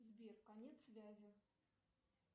сбер конец связи